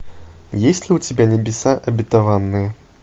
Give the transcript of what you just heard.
есть ли у тебя небеса обетованные